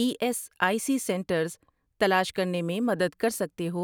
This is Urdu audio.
E S I C centres تلاش کرنے میں مدد کر سکتے ہو؟